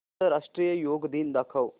आंतरराष्ट्रीय योग दिन दाखव